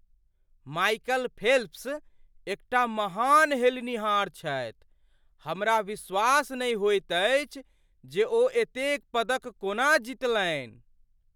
Michael Phelps एकटा महान हेलनिहार छथि। हमरा विश्वास नहि होइत अछि जे ओ एतेक पदक कोना जितलनि!